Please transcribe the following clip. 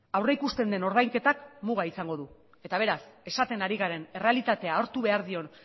aurreikusten den ordainketak muga izango du eta beraz esaten ari garen errealitatea aurre